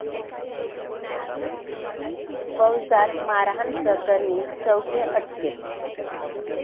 फौजदार मारहाणप्रकरणी चौघे अटकेत